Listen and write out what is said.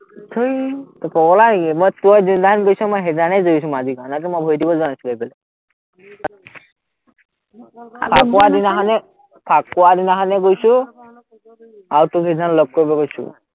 থেই, তই পগলা নেকি, মই তই যিদিনাখন গৈছ, মই সেইদিনাখনেই গৈছো মাঝি গাঁৱলে, এনেতো মই ভৰি দিবলে যোৱা নাছিলো এবেলিও ফাকুৱা দিনাখনে ফাকুৱা দিনাখনেই গৈছো, আৰু তোক সেইদিনাখন লগ কৰিব গৈছো।